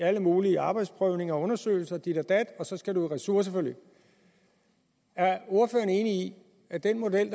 alle mulige arbejdsprøvninger og undersøgelser og dit og dat og så skal du i ressourceforløb er ordføreren enig i at den model